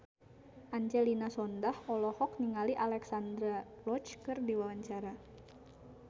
Angelina Sondakh olohok ningali Alexandra Roach keur diwawancara